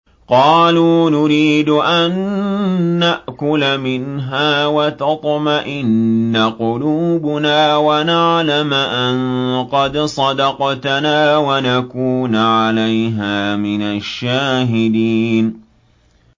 قَالُوا نُرِيدُ أَن نَّأْكُلَ مِنْهَا وَتَطْمَئِنَّ قُلُوبُنَا وَنَعْلَمَ أَن قَدْ صَدَقْتَنَا وَنَكُونَ عَلَيْهَا مِنَ الشَّاهِدِينَ